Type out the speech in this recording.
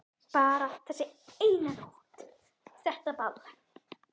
Bara þessi eina nótt eftir þetta ball.